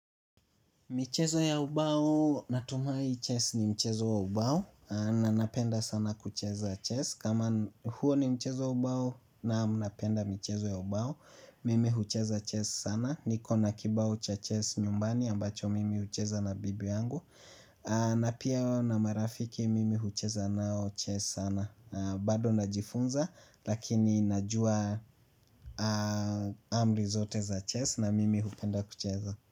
Michezo ya ubao, natumai chess ni mchezo ya ubao, na napenda sana kucheza chess, kama huo ni mchezo ya ubao naam napenda michezo ya ubao, mimi hucheza chess sana, niko na kibao cha chess nyumbani ambacho mimi hucheza na bibi yangu, na pia na marafiki mimi hucheza nao chess sana, na bado najifunza lakini najua amri zote za chess na mimi hupenda kucheza.